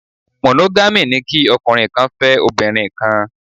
Monogamy' ni kí ọkùnrin kan fẹ́ obìnrin kan